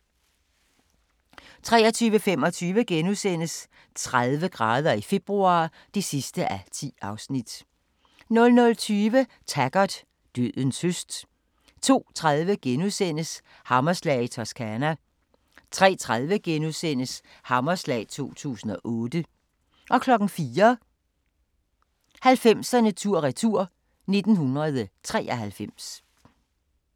23:25: 30 grader i februar (10:10)* 00:20: Taggart: Dødens høst 02:30: Hammerslag i Toscana * 03:30: Hammerslag 2008 * 04:00: 90'erne tur-retur: 1993